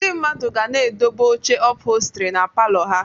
Ndị mmadụ ga na-edobe oche ụphọlstri na palọ ha